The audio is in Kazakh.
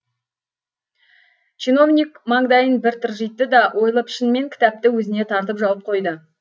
чиновник маңдайын бір тыржитты да ойлы пішінмен кітапты өзіне тартып жауып қойды